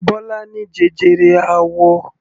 Bọ́lá ní jẹjẹrẹ àwọ.